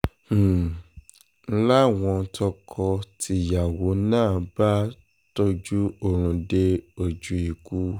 um ń láwọn tọkọ-tìyàwó náà bá um tọ́jú oorun dé ojú ikú